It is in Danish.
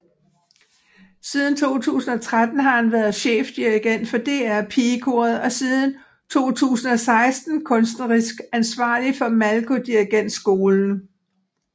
Siden 2013 har han været chefdirigent for DR PigeKoret og siden 2016 kunstnerisk ansvarlig for Malko Dirigentskolen